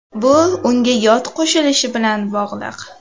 Bu unga yod qo‘shilishi bilan bog‘liq.